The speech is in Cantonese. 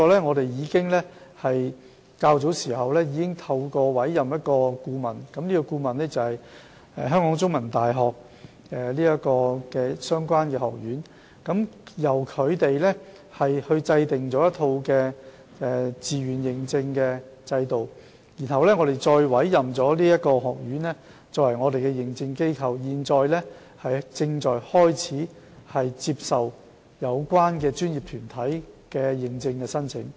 我們在較早時已透過委任顧問，即香港中文大學的相關學院，由它制訂一套自願認證的制度，然後委任該學院作為認證機構，並正在處理有關專業團體的認證申請。